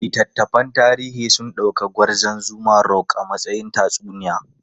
Littattafan tarihi sun dauki Gwarzon Zuma Rock a matsayin tatsuniya.